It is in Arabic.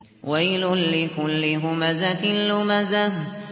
وَيْلٌ لِّكُلِّ هُمَزَةٍ لُّمَزَةٍ